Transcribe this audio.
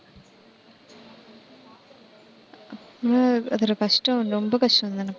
உம் கஷ்டம், ரொம்ப கஷ்டம்தானேக்கா